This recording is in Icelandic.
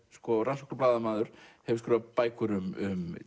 rannsóknarblaðamaður hefur skrifað bækur um